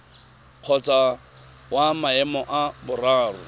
kgotsa wa maemo a boraro